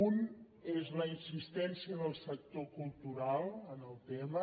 un és la insistència del sector cultural en el tema